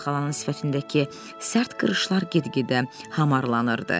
Poli xalanın sifətindəki sərt qırışlar get-gedə hamarlanırdı.